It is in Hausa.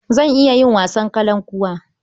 Zan iya yin wasan kalankuwa.